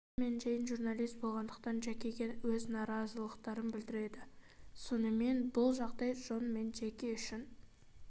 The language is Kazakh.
джон мен джейн журналист болғандықтан джекиге өз наразылықтарын білдіреді сонымен бұл жағдай джон мен джейн үшін